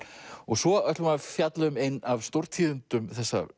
svo ætlum við að fjalla um ein af stórtíðindum þessarar